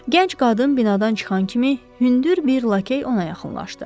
Gənc qadın binadan çıxan kimi hündür bir lakey ona yaxınlaşdı.